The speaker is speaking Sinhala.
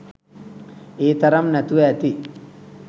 ඒ තරම් නැතුව ඇති.